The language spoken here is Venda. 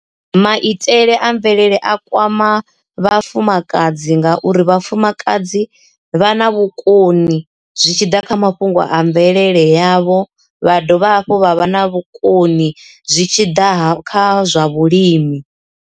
Maitele a mvelele a kwama vhafumakadzi ngauri vhafumakadzi vha na vhukoni zwi tshi ḓa kha mafhungo a mvelele yavho vha dovha hafhu vha vha na vhukoni zwi tshiḓa kha zwa vhulimi.